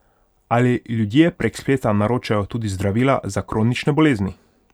Ali ljudje prek spleta naročajo tudi zdravila za kronične bolezni?